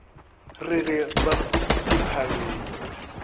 re ge ba khuditše thabeng